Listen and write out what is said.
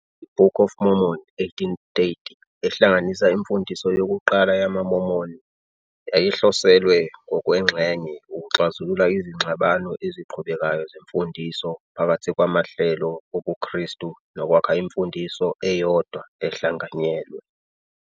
I- Book of Mormon, 1830, ehlanganisa imfundiso yokuqala yamaMormon, yayihloselwe, ngokwengxenye, ukuxazulula izingxabano eziqhubekayo zemfundiso phakathi kwamahlelo obuKhristu nokwakha imfundiso eyodwa ehlanganyelwe.